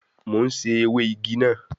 Mo ń sè ewé igi náà